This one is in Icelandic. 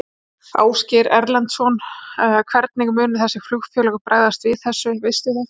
Ásgeir Erlendsson: Hvernig munu þessi flugfélög bregðast við þessu, veistu það?